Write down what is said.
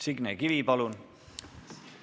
Signe Kivi, palun!